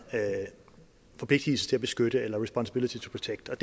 forpligtelsen til at beskytte eller responsibility to protect er